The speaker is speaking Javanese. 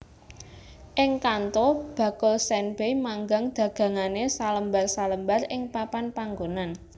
Ing Kanto bakul senbei manggang dagangane salembar salembar ing papan panggonan